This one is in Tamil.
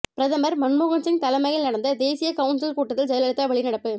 பிரதமர் மன்மோகன் சிங் தலைமையில் நடந்த தேசிய கவுன்சில் கூட்டத்தில் ஜெயலலிதா வெளிநடப்பு